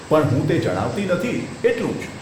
પણ હું તે જણાવતી નથી, એટલું જ.